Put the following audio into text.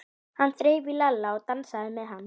Enginn þrælsótti mun framar aðskilja okkur.